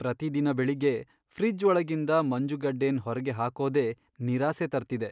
ಪ್ರತಿದಿನ ಬೆಳಿಗ್ಗೆ ಫ್ರಿಜ್ ಒಳಗಿಂದ ಮಂಜುಗಡ್ಡೆನ್ ಹೊರ್ಗೆ ಹಾಕೋದೇ ನಿರಾಸೆ ತರ್ತಿದೆ.